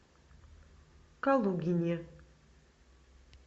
калугине